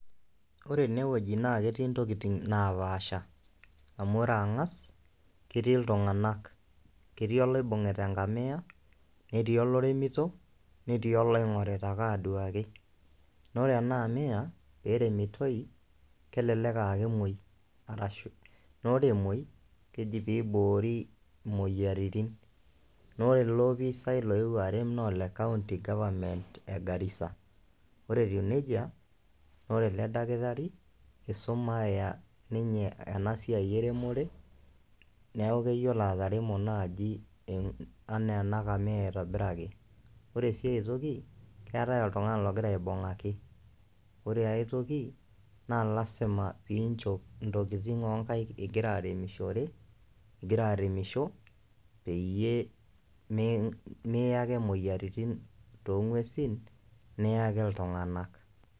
Ore enewoji naake etii ntokitin naapaasha amu ore ang'as ketii iltung'anak, ketii olaibung'ita eng'amia, netii oloremito, netii oloing'orita ake aduaki. Naa ore ena amia pee eremotoi kelelek aake emuoi, naa ore emuoi keji piibori moyiaritin naa ore ele opisai loiwuo arem naa ole county government e Garissa. Ore etiu neija naa ore ele dakitari isumaya ninye ena siai eremore neeku keyiolo ataremo naaji enaa ena kamia aitobiraki. Ore sii ai toki, keetai oltung'ani logira aibung'aki. Ore ai toki naa lazima piinjop ntokitin oo nkaek ing'ira aremishore, ing'ira aremisho peyie mii miya ake moyiaritin too ng'uesin niyaki iltung'anak.